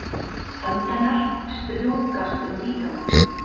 Hönd hennar strjúkast um líkamann.